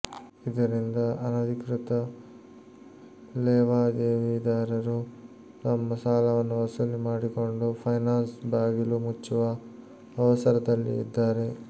ಇದರಿಂದ ಅನಧಿಕೃತ ಲೇವಾದೇವಿದಾರರು ತಮ್ಮ ಸಾಲವನ್ನು ವಸೂಲಿ ಮಾಡಿಕೊಂಡು ಫೈನಾನ್ಸ್ ಬಾಗಿಲು ಮುಚ್ಚುವ ಅವಸರದಲ್ಲಿ ಇದ್ದಾರೆ